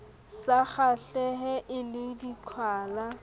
sa kgahlehe e le diqhwala